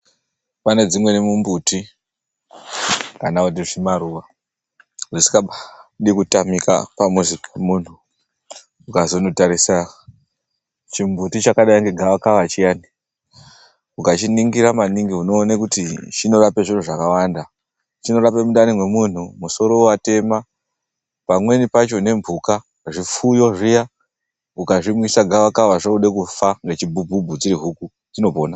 Pane dzimweni mumbuti kana kuti zvimaruwa zvisingadi kutamika pamuzi wemunhu. Ukazondotarisa chimbuti chakadai ngegavakava chiyani. Ukachiningira maningi unoona kuti chinorapa zvakawanda. Chinorapa mundani mwemunthu, musoro watema pamweni pacho nemphuka zvipfuyo zviya ukazvimwisa gavakava zvoda kufa ngechibhubhubhu zvinopona.